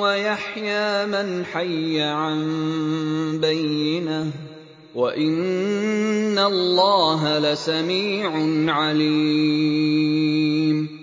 وَيَحْيَىٰ مَنْ حَيَّ عَن بَيِّنَةٍ ۗ وَإِنَّ اللَّهَ لَسَمِيعٌ عَلِيمٌ